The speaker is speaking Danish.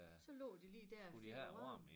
Så lå de lige dér og fik æ varme